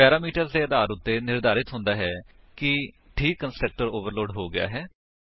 parameters ਦੇ ਆਧਾਰ ਉੱਤੇ ਨਿਰਧਾਰਤ ਹੁੰਦਾ ਹੈ ਕਿ ਠੀਕ ਕੰਸਟਰਕਟਰ ਓਵਰਲੋਡ ਹੋ ਗਿਆ ਹੈ